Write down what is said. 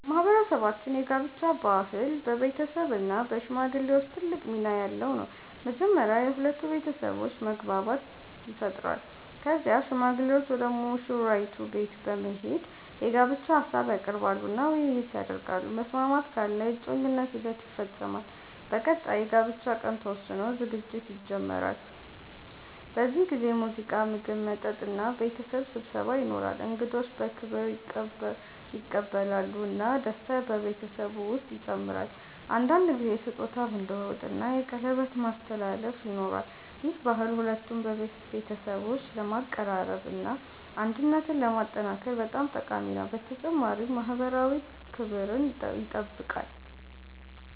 በማህበረሰባችን የጋብቻ ባህል በቤተሰብ እና በሽማግሌዎች ትልቅ ሚና ያለው ነው። መጀመሪያ የሁለቱ ቤተሰቦች መግባባት ይፈጠራል። ከዚያ ሽማግሌዎች ወደ ሙሽራይቱ ቤት በመሄድ የጋብቻ ሀሳብ ያቀርባሉ እና ውይይት ይደረጋል። መስማማት ካለ የእጮኝነት ሂደት ይፈጸማል። በቀጣይ የጋብቻ ቀን ተወስኖ ዝግጅት ይጀመራል። በዚህ ጊዜ ሙዚቃ፣ ምግብ፣ መጠጥ እና ቤተሰብ ስብሰባ ይኖራል። እንግዶች በክብር ይቀበላሉ እና ደስታ በቤተሰቡ ውስጥ ይጨምራል። አንዳንድ ጊዜ ስጦታ መለዋወጥ እና የቀለበት ማስተላለፍ ይኖራል። ይህ ባህል ሁለቱን ቤተሰቦች ለማቀራረብ እና አንድነትን ለማጠናከር በጣም ጠቃሚ ነው፣ በተጨማሪም ማህበራዊ ክብርን ይጠብቃል።